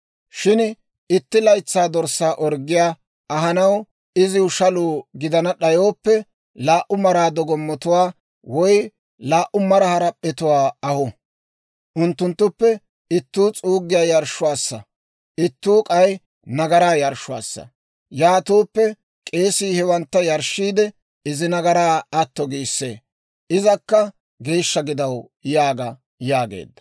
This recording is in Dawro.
« ‹Shin itti laytsaa dorssaa orggiyaa ahanaw iziw shaluu gidana d'ayooppe, laa"u mara dogomattuwaa woy laa"u mara harap'p'atuwaa ahu; unttunttuppe ittuu s'uuggiyaa yarshshuwaassa; ittuu k'ay nagaraa yarshshuwaassa; yaatooppe k'eesii hewantta yarshshiide, izi nagaraa atto giissee; izakka geeshsha gidaw› yaaga» yaageedda.